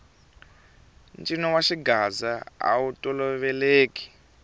ncino wa xigaza awu toloveleki